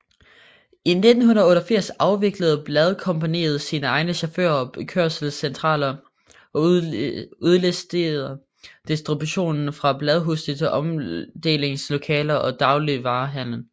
I 1988 afviklede Bladkompagniet sine egne chauffører og kørselscentraler og udliciterede distributionen fra bladhuse til omdelingslokaler og dagligvarehandlen